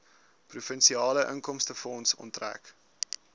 provinsiale inkomstefonds onttrek